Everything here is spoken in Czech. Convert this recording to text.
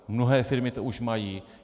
Mnohé firmy to už mají.